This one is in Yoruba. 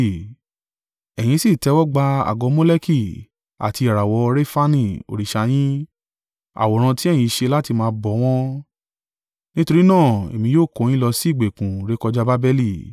Ẹ̀yin sì tẹ́wọ́gbà àgọ́ Moleki, àti ìràwọ̀ Refani òrìṣà yín, àwòrán tí ẹ̀yin ṣe láti máa bọ wọ́n. Nítorí náà èmi yóò kó yín lọ sí ìgbèkùn rékọjá Babeli.’